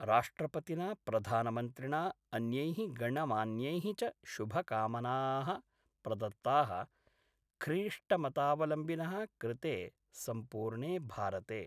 राष्ट्रपतिना प्रधानमन्त्रिणा अन्यै: गणमान्यैः च शुभकामाना: प्रदत्ता: ख्रीष्टमतावलम्बिन: कृते सम्पूर्णे भारते।